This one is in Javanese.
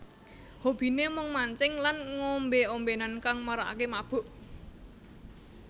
Hobine mung mancing lan ngombe ombenan kang marakake mabuk